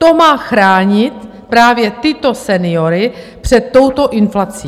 To má chránit právě tyto seniory před touto inflací.